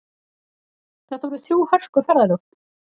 Þetta voru þrjú hörku ferðalög